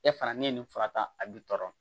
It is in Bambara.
E fana ni ye nin fara tan a bi tɔɔrɔ